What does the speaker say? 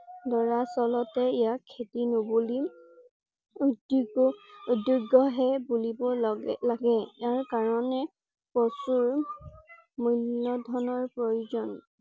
দৰাচলতে ইয়াক খেতি নুবুলি উদ্যোগ উদুগ্য হে বুলিব লালাগে। ইয়াৰ কাৰণে প্ৰচুৰ মূল্যধনৰ প্ৰয়োজন ।